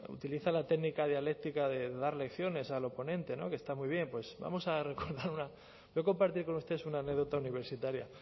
utiliza la técnica dialéctica de dar lecciones al oponente no que está muy bien pues vamos a recordar una quiero compartir con ustedes una anécdota universitaria